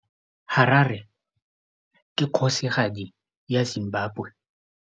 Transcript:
Harare ke kgosigadi ya Zimbabwe.